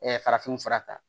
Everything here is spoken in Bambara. farafinw fara ta